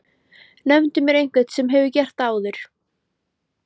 Nefndu mér einhvern sem hefur gert það áður?!